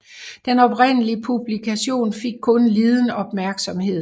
Den oprindelige publikation fik kun liden opmærksomhed